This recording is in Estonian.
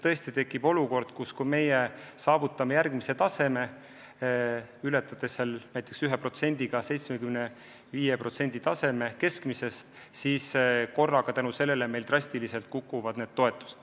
Tõesti tekib olukord, et kui me saavutame järgmise taseme, ületades näiteks 1% võrra taseme 75% euroliidu keskmisest, siis meie toetused drastiliselt kukuvad.